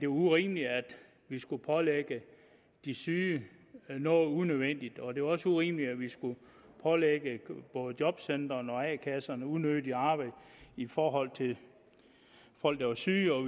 urimeligt at vi skulle pålægge de syge noget unødvendigt og det var også urimeligt at vi skulle pålægge både jobcentrene og a kasserne unødigt arbejde i forhold til folk der var syge og